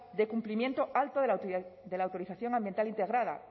de cumplimiento alto de la autorización ambiental integrada